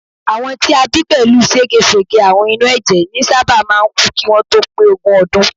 Àwọn tí a bí pẹ̀lú ségesège àrùn inú ẹ̀jẹ̀ ní sábà máà ń kú kí wọ́n tó pé ogún ọdún